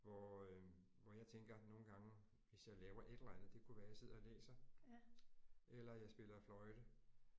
Hvor øh hvor jeg tænker nogle gange hvis jeg laver et eller andet det kunne være jeg sidder og læser eller jeg spiller fløjte